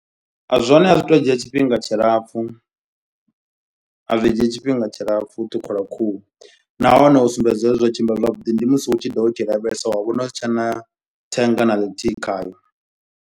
Zwone a zwi tu dzhia tshifhinga tshilapfu. A zwi dzhii tshifhinga tshilapfu u ṱhukhula khuhu. Nahone u sumbedza zwori zwo tshimbila zwavhuḓi. Ndi musi u tshi do vha u tshi lavhelesa wa vhona husi tshena thenga na ḽithihi khayo.